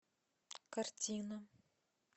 картина